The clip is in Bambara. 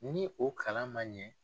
Ni o kalan man ɲɛ